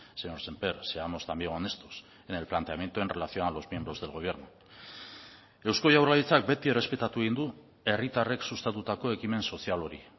señor sémper seamos también honestos en el planteamiento en relación a los miembros del gobierno eusko jaurlaritzak beti errespetatu egin du herritarrek sustatutako ekimen sozial hori